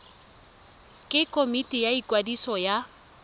ke komiti ya ikwadiso ya